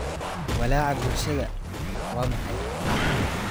Walaaca bulshada waa maxay?